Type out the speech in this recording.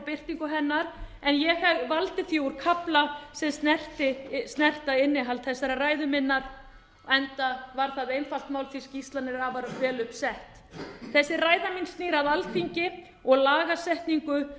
birtingu hennar en ég valdi því úr kafla sem snerta innihald þessarar ræðu minnar enda var það einfalt mál því skýrslan er afar vel upp sett þessi ræða mín snýr að alþingi og lagasetningu